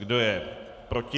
Kdo je proti?